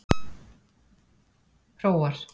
Hróar